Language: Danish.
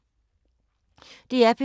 DR P3